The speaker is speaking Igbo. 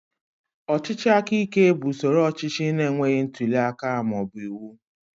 Ọchịchị aka ike bụ usoro ọchịchị na-enweghị ntuli aka ma ọ bụ iwu.